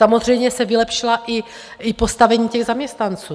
Samozřejmě se vylepšilo i postavení těch zaměstnanců.